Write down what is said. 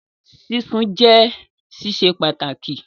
Sísun jẹ́ sísè pàtàkì